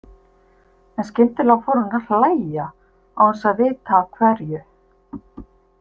En skyndilega fór hann að hlæja, án þess að vita af hverju.